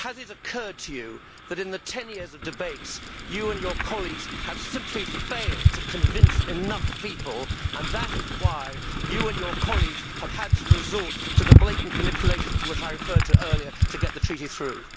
Has it occurred to you that, in the 10 years of debates, you and your colleagues have simply failed to convince enough people, and that is why you and your colleagues have had to resort to the blatant manipulation to which I referred earlier to get the Treaty through?